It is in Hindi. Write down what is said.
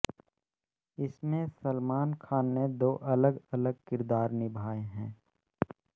इसमें सलमान खान ने दो अलग अलग किरदार निभाए हैं